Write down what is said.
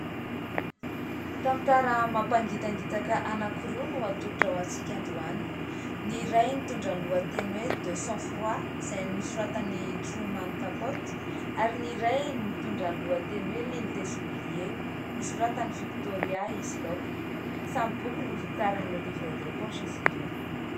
Tantara mampangitangitaka anankiroa no atolotra ho antsika androany. Ny iray mitondra ny lohateny hoe "De sang froid" izay nosoratan'i " Truman Capote " ary ny iray mitondra ny lohateny hoe " l'île des oubliés " nosoratan'i " Victoria Hislop ". Samy boky novokarin'i " Le livre de poche " izy ireo.